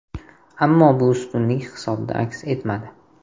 Ammo bu ustunlik hisobda aks etmadi.